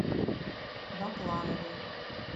бакланове